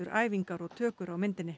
æfingar og tökur á myndinni